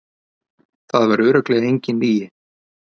Það var örugglega engin lygi.